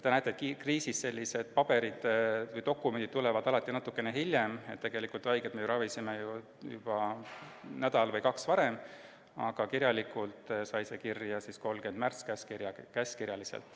Te näete, et kriisis tulevad sellised dokumendid alati natukene hiljem, tegelikult me ravisime haigeid juba nädal või kaks varem, aga kirjalikult sai see kinnitatud 30. märtsi käskkirjaga.